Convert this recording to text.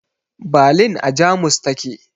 Balin a Jamus ta ke